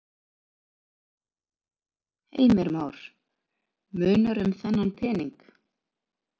Heimir Már: Munar um þennan pening?